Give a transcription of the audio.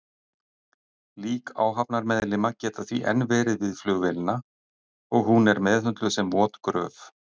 Lík áhafnarmeðlima geta því enn verið við flugvélina og hún er meðhöndluð sem vot gröf.